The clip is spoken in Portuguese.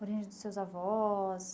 Origem dos seus avós?